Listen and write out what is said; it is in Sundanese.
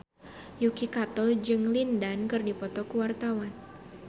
Yuki Kato jeung Lin Dan keur dipoto ku wartawan